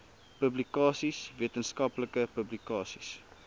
publikasies wetenskaplike publikasies